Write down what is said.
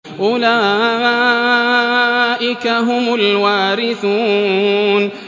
أُولَٰئِكَ هُمُ الْوَارِثُونَ